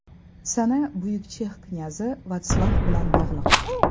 Sana buyuk chex knyazi Vatslav bilan bog‘liq.